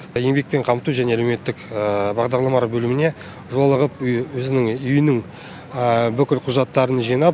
еңбекпен қамту және әлеуметтік бағдарламалар бөліміне жолығып өзінің үйінің бүкіл құжаттарын жинап